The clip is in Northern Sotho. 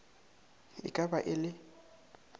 e ka ba e le